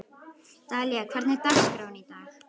Dalía, hvernig er dagskráin í dag?